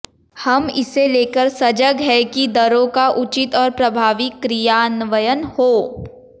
हम इसे लेकर सजग हैं कि दरों का उचित और प्रभावी क्रियान्वयन हो